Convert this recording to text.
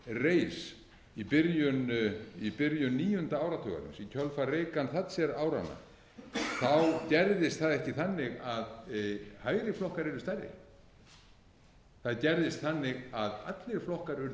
reis í byrjun níunda áratugarins í kjölfar reagan thatcher áranna gerðist það ekki þannig að hægri flokkar yrðu stærri það gerðist þannig að allir flokkar urðu hægri